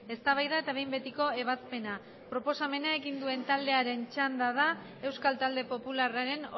eztabaida eta behin betiko ebazpena proposamena egin duen taldearen txanda da euskal talde popularraren